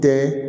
Tɛ